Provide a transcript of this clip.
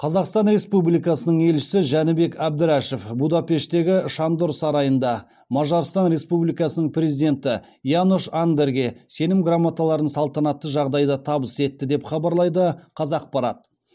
қазақстан республикасының елшісі жәнібек әбдрашов будапештегі шандор сарайында мажарстан республикасының президенті янош андерге сенім грамоталарын салтанатты жағдайда табыс етті деп хабарлайды қазақпарат